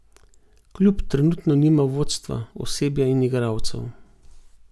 Klub trenutno nima vodstva, osebja in igralcev.